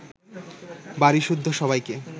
বাড়িসুদ্ধ সবাইকে